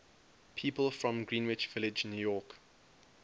people from greenwich village new york